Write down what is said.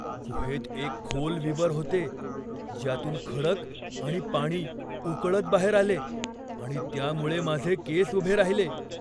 गुहेत एक खोल विवर होते ज्यातून खडक आणि पाणी उकळत बाहेर आले आणि त्यामुळे माझे केस उभे राहिले.